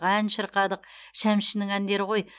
ән шырқадық шәмшінің әндері ғой